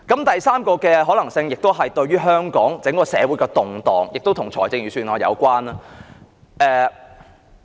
第三個可能性在香港社會引起的動盪，亦與預算案有關。